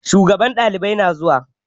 Shugaban ɗalibai na zuwa